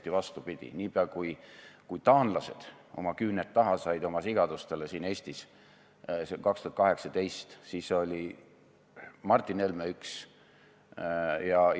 Me ise võtsime selle enda sisepoliitiliseks teemaks, selle asemel et tunnistada oma saavutusi ja proovida rahvusvahelist regulatsiooni mõistlikkuse suunas mõjutada.